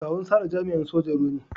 Kawun Sarah jami'in sojan ruwa ne.